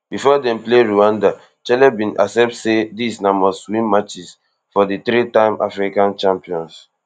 bifor dem play rwanda chelle bin accept say dis na mustwin matches for di threetime african champions